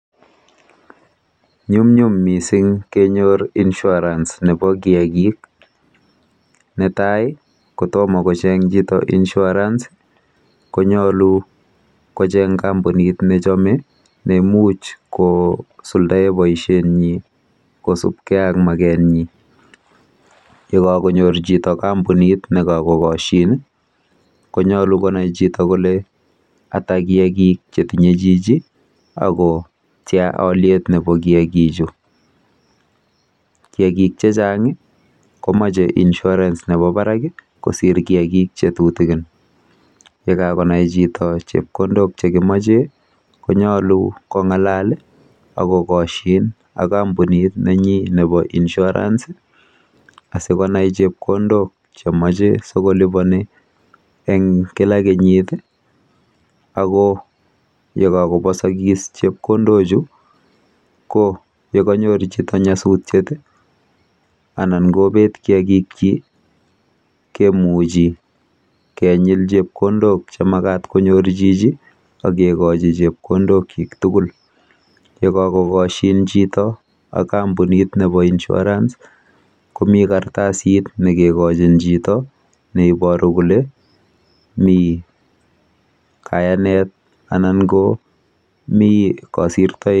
Nyumnyum mising kenyor Insurance nebo kiagik. Netai ko tomo kocheng chito insurance kochenye kampunit nechome neimuch kosuldae boisietnyi kosubkei ak magetnyi. Yekakonyor chito kampunit nekakokoshin konyolu koker chito kole ata kiagik chetinye chito ako tia olyet nebo kiagichu. Kiagik chechang komache Insurance nebo barak kosiir kiagik che tutikin. Yekakonai chito chepkondok chekimakee konyolu kong'alal akokoshin ak kampunit nenyi nebo insurance asikonai chepkondok chemache ssikolipani eng kila kenyit ako yekakobosokik chepkondochu ko yekanyor chito nyasutiet anan kobet kiagikchi kemuchi kenyil chepkondok chemakat konyoru jiji akekochi chepkondokchi tugul. Yekakokoshin chito ak kampunit nebo Insurance komi kartsit nekekochin chito neiboru kole mi kayanet anan komi kosirtoet.